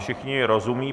Všichni rozumějí.